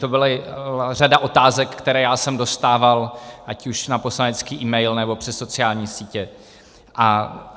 To byla řada otázek, které jsem dostával ať už na poslanecký e-mail, nebo přes sociální sítě.